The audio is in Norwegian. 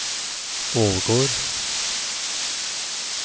Ålgård